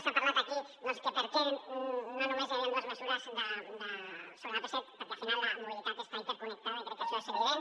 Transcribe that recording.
s’ha parlat aquí doncs que per què no només hi havien dues mesures sobre l’ap set perquè al final la mobilitat està interconnectada i crec que això és evident